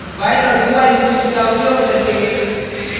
while औऱ dowhile loops का उपयोग करके